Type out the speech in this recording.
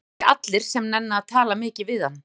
Það eru ekki allir sem nenna að tala mikið við hann.